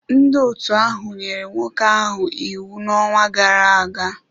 Ndị otu ahụ nyere nwoke ahụ iwu n'ọnwa gara aga.